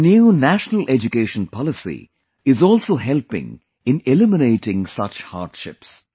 The new National Education Policy is also helping in eliminating such hardships